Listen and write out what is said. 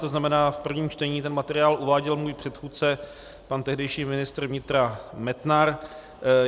To znamená, v prvním čtení ten materiál uváděl můj předchůdce, pan tehdejší ministr vnitra Metnar.